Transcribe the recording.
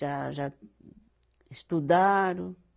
Já, já estudaram.